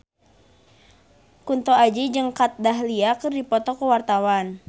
Kunto Aji jeung Kat Dahlia keur dipoto ku wartawan